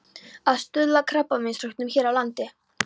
Að stuðla að krabbameinsrannsóknum hér á landi.